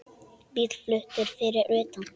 Bíll flautar fyrir utan.